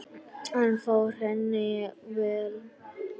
Hann fór henni vel.